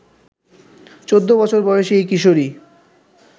১৪ বছর বয়সী ওই কিশোরী